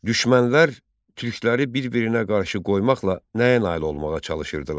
Düşmənlər türkləri bir-birinə qarşı qoymaqla nəyə nail olmağa çalışırdılar?